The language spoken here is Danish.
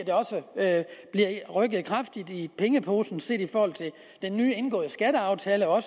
at der bliver rykket kraftigt i pengeposen set i forhold til den nyindgåede skatteaftale og